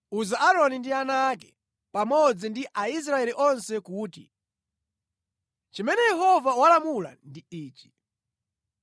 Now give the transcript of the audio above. “Uza Aaroni ndi ana ake, pamodzi ndi Aisraeli onse kuti, ‘Chimene Yehova walamula ndi ichi: